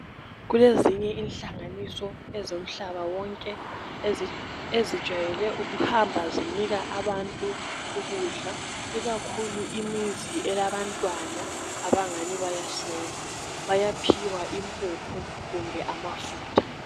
Kulezinye inhlanganiso ezomhlaba wonke eziwjayele ukuhamba zinika abantu ukudla i kakhulu imizi elabantwana abangani bayaswela bayaphiwa imphuphu kumbe ama futha